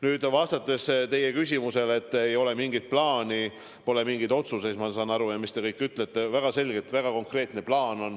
Nüüd, mis puutub teie väitesse, et ei ole mingit plaani, pole mingeid otsuseid ja mis te kõik ütlesite, siis väga selge, väga konkreetne plaan on.